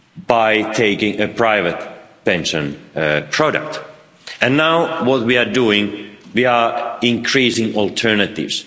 by taking a private pension product, and now what we are doing is increasing alternatives.